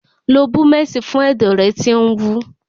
Lo búmẹ̀sì fún ẹ̀dọ̀ rẹ tí ń wú.